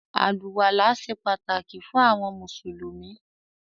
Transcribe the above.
“Àlùwàlá” se pàtàkì fún àwọn mùsùlùmí.